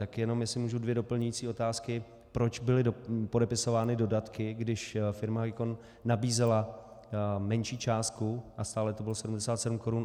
Tak jenom jestli můžu ty doplňující otázky: Proč byly podepisovány dodatky, když firma Hicon nabízela menší částku, a stále to bylo 77 korun.